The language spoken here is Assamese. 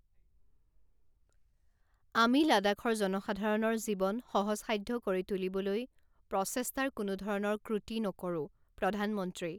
আমি লাডাখৰ জনসাধাৰণৰ জীৱন সহজসাধ্য কৰি তুলিবলৈ প্ৰচেষ্টাৰ কোনোধৰণৰ ক্ৰুটি নকৰোঁঃ প্ৰধানমন্ত্ৰী